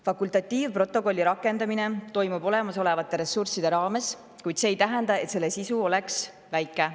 Fakultatiivprotokolli rakendamine toimub olemasolevate ressursside raames, kuid see ei tähenda, et selle sisu oleks väike.